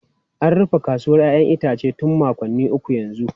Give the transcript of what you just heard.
An rufe kasuwar 'ya'yan itace tun makonni uku yanzu.